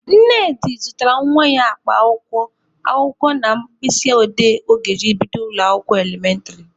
Nnedi zụtara nwa ya akpa akwụkwọ, akwụkwọ na mkpịsị odee ọ ga-eji bido ụlọ akwụkwọ elementịrị.